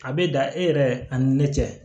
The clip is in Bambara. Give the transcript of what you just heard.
A bɛ dan e yɛrɛ ani ne cɛ